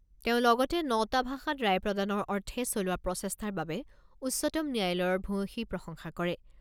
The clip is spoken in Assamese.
তেওঁ লগতে নটা ভাষাত ৰায় প্ৰদানৰ অৰ্থে চলোৱা প্ৰচেষ্টাৰ বাবে উচ্চতম ন্যায়ালয়ৰ ভূয়সী প্ৰশংসা কৰে।